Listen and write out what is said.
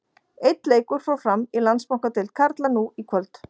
Einn leikur fór fram í Landsbankadeild karla nú í kvöld.